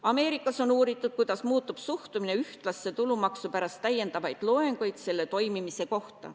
Ameerikas on uuritud, kuidas muutub suhtumine ühtlasse tulumaksu pärast täiendavaid loenguid selle toimimise kohta.